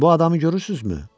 Bu adamı görürsünüzmü?